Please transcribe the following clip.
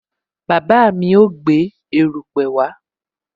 Bàbá mi ó gbé erupe wá